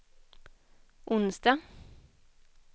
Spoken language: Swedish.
onsdag